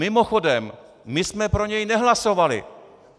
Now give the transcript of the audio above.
Mimochodem, my jsme pro něj nehlasovali!